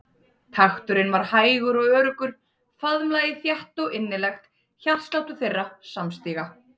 Takturinn var hægur og öruggur, faðmlagið þétt og innilegt hjartsláttur þeirra samstíga.